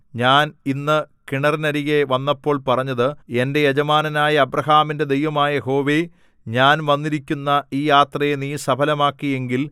ഞാൻ ഇന്ന് കിണറിനരികെ വന്നപ്പോൾ പറഞ്ഞത് എന്റെ യജമാനനായ അബ്രാഹാമിന്റെ ദൈവമായ യഹോവേ ഞാൻ വന്നിരിക്കുന്ന ഈ യാത്രയെ നീ സഫലമാക്കി എങ്കിൽ